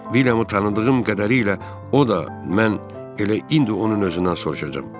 Villiamı tanıdığım qədərilə o da, mən elə indi onun özündən soruşacam.